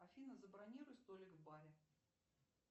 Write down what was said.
афина забронируй столик в баре